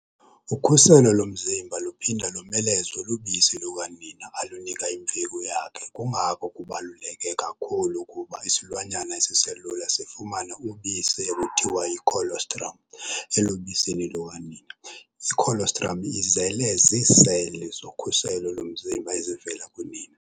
Ukhuselo lomzimba luphinda lomelezwe lubisi lukanina alunika imveku yakhe kungako kubaluleke kakhulu ukuba isilwanyana esiselula sifumane ubisi ekuthiwa yi-colostrum elubisini lukanina. I-colostrum izele ziiseli zokhuselo lomzimba ezivela kunina.